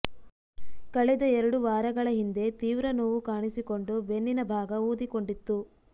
ಕಳೆದ ಎರಡು ವಾರಗಳ ಹಿಂದೆ ತೀವ್ರ ನೋವು ಕಾಣಿಸಿಕೊಂಡು ಬೆನ್ನಿನ ಭಾಗ ಊದಿಕೊಂಡಿತ್ತು